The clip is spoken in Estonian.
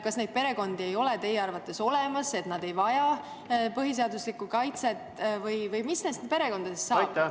Kas neid perekondi ei ole teie arvates olemas, et nad ei vaja põhiseaduslikku kaitset, või mis nendest perekondadest saab?